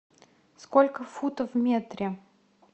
сколько футов в метре